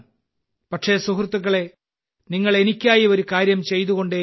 പക്ഷേ സുഹൃത്തുക്കളേ നിങ്ങൾ എനിക്കായി ഒരുകാര്യം ചെയ്തുകൊണ്ടേയിരിക്കണം